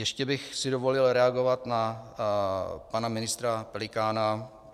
Ještě bych si dovolil reagovat na pana ministra Pelikána.